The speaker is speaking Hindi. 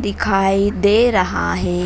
दिखाई दे रहा है।